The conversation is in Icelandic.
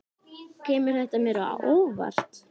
Kemur þetta mér á óvart?